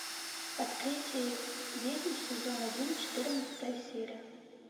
открытие ведьм сезон один четырнадцатая серия